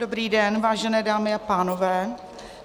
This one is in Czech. Dobrý den, vážené dámy a pánové.